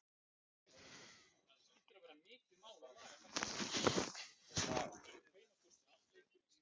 Nú hérna fara formenn, þeir ganga á fund forseta á morgun, hvað gerist svo?